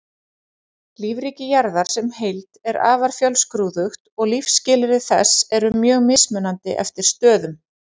Lífríki jarðar sem heild er afar fjölskrúðugt og lífsskilyrði þess eru mjög mismunandi eftir stöðum.